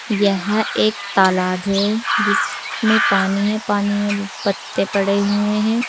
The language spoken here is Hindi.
यह एक तालाब है जिसमें पानी है पानी में पत्ते पड़े हुए हैं।